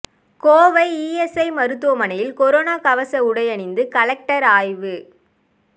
Kovai ESI மருத்துவமனையில் corona கவச உடை அணிந்து கலெக்டர் ஆய்வு